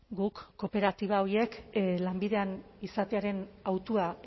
guk kooperatiba horiek lanbidean izatearen hautua